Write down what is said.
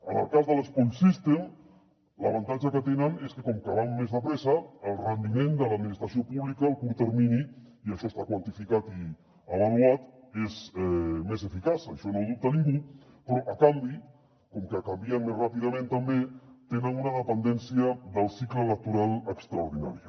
en el cas de l’que com que van més de pressa el rendiment de l’administració pública a curt termini i això està quantificat i avaluat és més eficaç això no ho dubta ningú però a canvi com que canvien més ràpidament també tenen una dependència del cicle electoral extraordinària